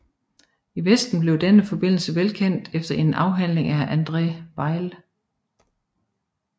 I Vesten blev denne forbindelse velkendt efter en afhandling af André Weil